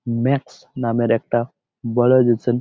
max নামের একটা বড়ো --